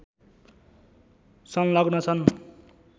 संलग्न छन्